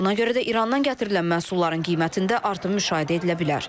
Məhz buna görə də İrandan gətirilən məhsulların qiymətində artım müşahidə edilə bilər.